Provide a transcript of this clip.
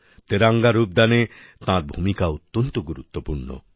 তেরঙ্গা রূপদানে তাঁর ভূমিকা অত্যন্ত গুরুত্বপূর্ণ